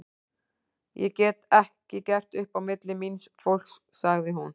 Ég get ekki gert upp á milli míns fólks, sagði hún.